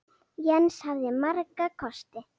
Jens hafði marga kosti.